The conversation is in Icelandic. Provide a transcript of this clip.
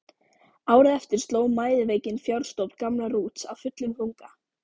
Árið eftir sló mæðiveikin fjárstofn gamla Rúts af fullum þunga.